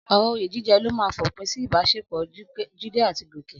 Ọ̀rọ̀ oyè jíjẹ ló máa fòpin sí ìbáṣepọ̀ Jídé àti Gòkè.